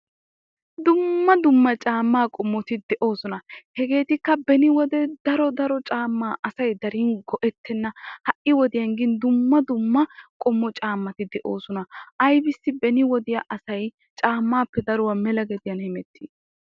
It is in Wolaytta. dumma dumma caamaa qommoti de'oosona. hegeetuppe beni wode daro daro caamaa asay go'ettenna. ha'i wodiyan gin dumma dumma qommo caamatti de'oosona. hai wodiyan gin aybissi asay caamaappe daruwa mela gediyan hemettii?